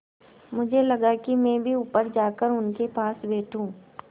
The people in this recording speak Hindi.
मुझे लगा कि मैं भी ऊपर जाकर उनके पास बैठूँ